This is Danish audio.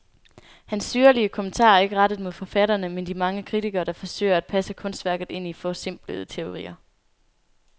Hans syrlige kommentarer er ikke rettet mod forfatterne, men de mange kritikere, der forsøger at passe kunstværket ind i forsimplende teorier.